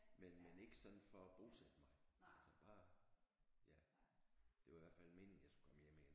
Men men ikke sådan for at bosætte mig altså bare ja det var i hvert fald meningen at jeg skulle komme hjem igen